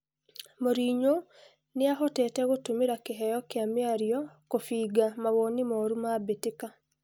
Mũrinyo nĩahotete gũtũmira kĩheyo kĩa mĩario kũbinga mawoni moru ma mbĩtĩka.